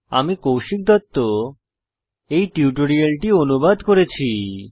আমি কৌশিক দত্ত এই টিউটোরিয়ালটি অনুবাদ করেছি